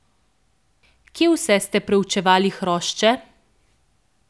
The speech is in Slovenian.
Kje vse ste preučevali hrošče?